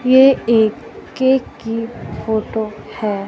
ये एक केक की फोटो है।